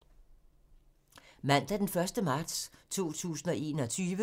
Mandag d. 1. marts 2021